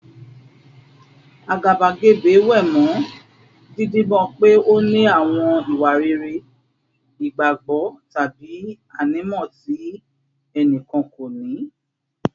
Àgàbàgebè wé mọ́ dídibọ́n pé ó ní àwọn ìwà rere, ìgbàgbọ́, tàbí ànímọ́ tí ẹnì kan kò ní